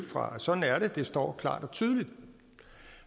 fra sådan er det det står klart og tydeligt